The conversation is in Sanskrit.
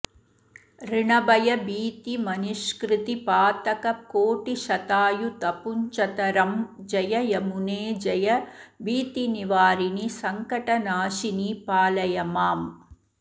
ऋणभयभीतिमनिष्कृतिपातककोटिशतायुतपुञ्जतरं जय यमुने जय भीतिनिवारिणि संकटनाशिनि पावय माम्